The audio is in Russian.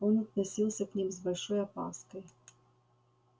он относился к ним с большой опаской